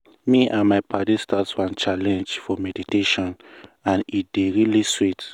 me and my paddies start one challenge for meditationand e dey really sweet.